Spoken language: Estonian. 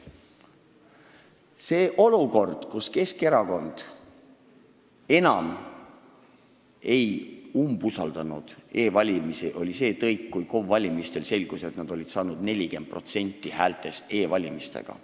Selle olukorra, kus Keskerakond enam ei umbusaldanud e-valimisi, põhjustas see tõik, et KOV-i valimistel selgus, et nad olid 40% häältest saanud e-hääletuselt.